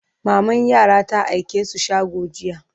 maman yaran ta aike su shago jiya